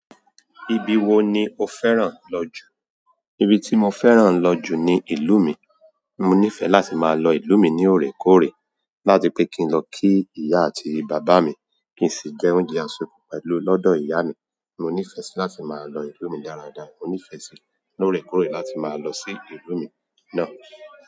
Ibi wo ni o fẹ́ràn lọ jù? Ibi tí mo fẹ́ràn lo jù ní ìlú mi mo nífẹ́ láti máa lọ ìlú mi ní òrèkóòrè láti pè kí n lọ kí ìyá àti bàbá mi kí ń sì jẹ́ oúnjẹ ase pẹ̀lú lọ́dọ̀ ìyá mi. Mo nífẹ́ sí láti máa lọ ìlú mi dáradára. Mo nífẹẹ sí ní òrékoòré láti máa lọ sí ìlú mi náà.